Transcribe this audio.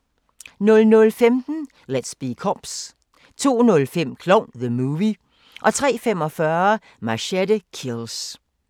00:15: Let's Be Cops 02:05: Klovn - The Movie 03:45: Machete Kills